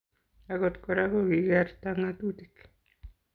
Agot Kora kokikerta ngatutik